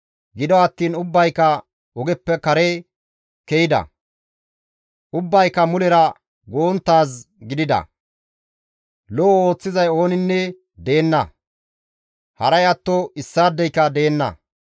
Gido attiin ubbayka ogeppe kare ke7ida; ubbayka mulera go7onttaaz gidida; lo7o ooththizay ooninne deenna; haray atto issaadeyka deenna.